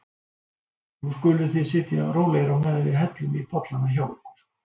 Nú skuluð þið sitja rólegir á meðan við hellum í bollana hjá ykkur.